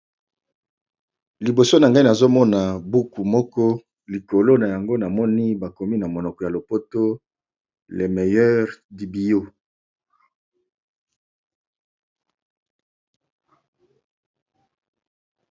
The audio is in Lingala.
Liboso na ngai nazomona buku moko likolo na yango bakomi na monoko ya lopoto le meilleur du Bio.